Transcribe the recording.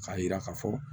K'a jira k'a fɔ